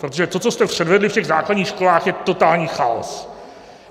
Protože to, co jste předvedli v těch základních školách, je totální chaos.